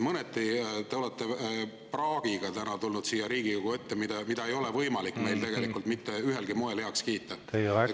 Mõneti te olete täna tulnud siia Riigikogu ette praagiga, mida ei ole võimalik meil tegelikult mitte ühelgi moel heaks kiita.